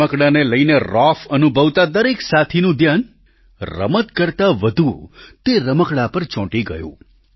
રમકડાંને લઈને રોફ અનુભવતા દરેક સાથીનું ધ્યાન રમત કરતાં વધુ તે રમકડા પર ચોંટી ગયું